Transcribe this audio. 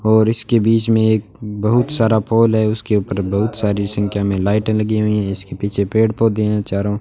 और इसके बीच में एक बहुत सारा पोल है उसके ऊपर बहुत सारी संख्या में लाइट लगी हुई है इसके पीछे पेड़ पौधे हैं चारों --